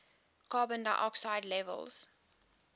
carbon dioxide levels